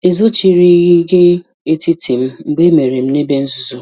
"Ezochirighị gị etiti m mgbe emere m n'ebe nzu.